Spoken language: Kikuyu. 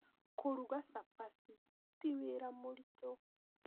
Kũruga cabaci ti wĩra mũritũ